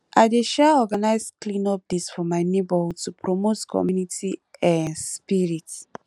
i dey um organize cleanup days for my neighborhood to promote community um spirit